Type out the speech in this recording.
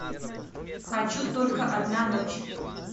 хочу только одна ночь